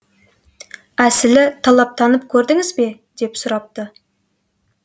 әсілі талаптанып көрдіңіз бе деп сұрапты